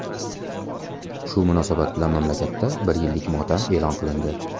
Shu munosabat bilan mamlakatda bir yillik motam e’lon qilindi.